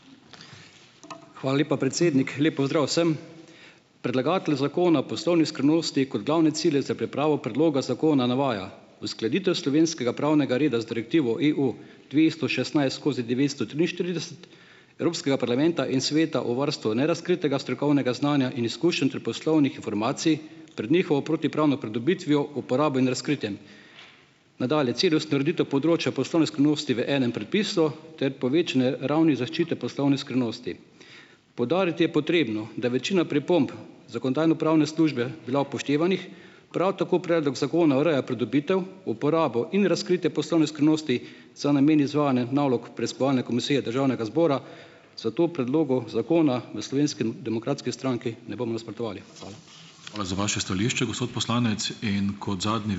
Hvala lepa, predsednik. Lep pozdrav vsem! Predlagatelj zakona o poslovni skrivnosti kot glavne cilje za pripravo predloga zakona navaja: uskladitev slovenskega pravnega reda z Direktivo EU dvesto šestnajst skozi devetsto triinštirideset Evropskega parlamenta in Sveta o varstvu nerazkritega strokovnega znanja in izkušenj ter poslovnih informacij pred njihovo protipravno pridobitvijo, uporabo in razkritjem; nadalje, cilj je utrditev področja poslovne skrivnosti v enem prepisu ter povečanje ravni zaščite poslovne skrivnosti. Poudariti je potrebno, da je večina pripomb zakonodajno-pravne službe bila upoštevanih. Prav tako predlog zakona ureja pridobitev, uporabo in razkritje poslovne skrivnosti za namen izvajanja nalog preiskovalne komisije državnega zbora, zato predlogu zakona v Slovenski demokratski stranki ne bomo nasprotovali. Hvala.